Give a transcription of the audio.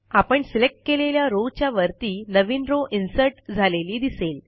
आपण सिलेक्ट केलेल्या रो च्या वरती नवीन रो इन्सर्ट झालेली दिसेल